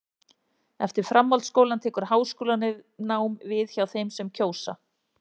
Eftir framhaldsskólann tekur háskólanám við hjá þeim sem það kjósa.